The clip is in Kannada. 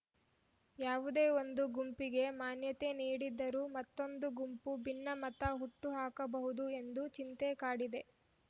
ಯಾವುದೇ ಒಂದು ಗುಂಪಿಗೆ ಮಾನ್ಯತೆ ನೀಡಿದರೂ ಮತ್ತೊಂದು ಗುಂಪು ಭಿನ್ನಮತ ಹುಟ್ಟುಹಾಕಬಹುದು ಎಂದು ಚಿಂತೆ ಕಾಡಿದೆ